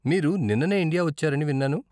మీరు నిన్ననే ఇండియా వచ్చారని విన్నాను.